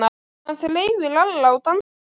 Hann þreif í Lalla og dansaði með hann.